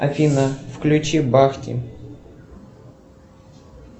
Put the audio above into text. афина включи бахти